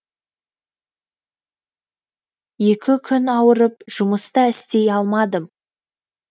екі күн ауырып жұмыс та істей алмадым